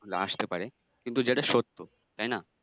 আসতে পারে কিন্তু যেটা সত্য তাই না?